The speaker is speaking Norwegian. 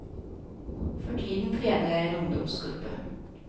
For tiden trener jeg en ungdomsgruppe.